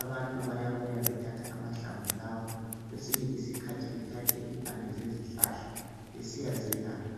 Abantu bayabuya bethathe amahlamvu lawa kwesinye isikhathi bethathe impande zezihlahla besiyazelapha.